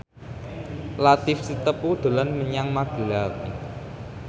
Latief Sitepu dolan menyang Magelang